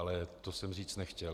Ale to jsem říct nechtěl.